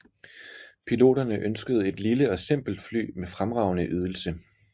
Piloterne ønskede et lille og simpelt fly med fremragende ydelse